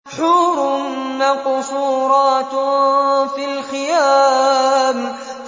حُورٌ مَّقْصُورَاتٌ فِي الْخِيَامِ